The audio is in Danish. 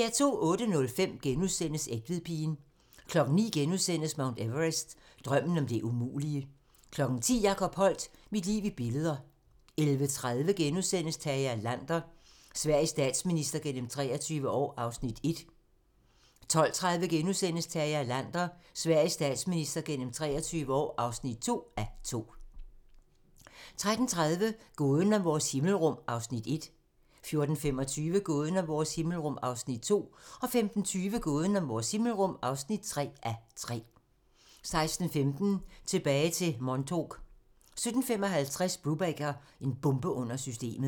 08:05: Egtvedpigen * 09:00: Mount Everest - Drømmen om det umulige * 10:00: Jacob Holdt - Mit liv i billeder 11:30: Tage Erlander - Sveriges statsminister gennem 23 år (1:2)* 12:30: Tage Erlander - Sveriges statsminister gennem 23 år (2:2)* 13:30: Gåden om vores himmelrum (1:3) 14:25: Gåden om vores himmelrum (2:3) 15:20: Gåden om vores himmelrum (3:3) 16:15: Tilbage til Montauk 17:55: Brubaker - en bombe under systemet